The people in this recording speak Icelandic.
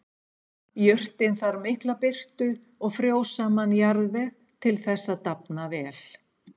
Jurtin þarf mikla birtu og frjósaman jarðveg til þess að dafna vel.